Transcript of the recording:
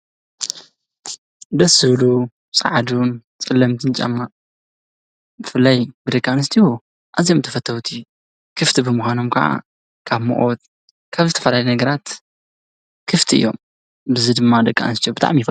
ደስዝብሉ ፀዓዱን ጸለምቲ ጫማ ፍላይ ብደቃ ኣንስትዮ ኣዙዩም ተፈተውቲ ክፍቲ ብምኻኖም ከዓ ካብ ሙቆት ካብ ዝተፈላለየ ነገራት ክፍቲ እዮም ብዚ ድማ ደቃ ኣንስትዮ ብጣዕሚ ይፈትውኦ።